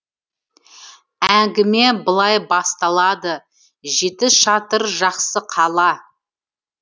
әңгіме былай басталады жетішатыр жақсы қала